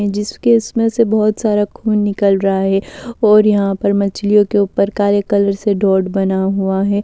जिसके इसमें से बहुत सारा खून निकल रहा है और यहां पर मछलियों के ऊपर काले कलर से डॉट बना हुआ है।